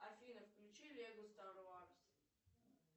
афина включи лего стар варс